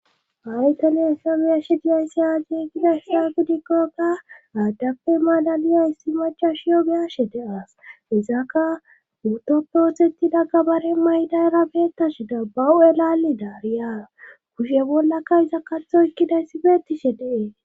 Aytaliye sabiyashi diyayssiyageegidayssa gidikkokka aaddappe malaliya issi machashiyo beyashe deas izaka otoppeoxettida gabare maydayra beettashi da bahu,elaalli daariyaaa kushe bollaka iza katho ekkidayssi beetishe dee.